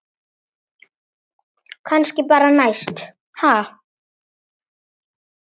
Kannski bara næst, ha!